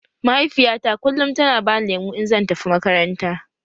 Mahaifiyata kullum tana bani lemu in zan tafi makaranta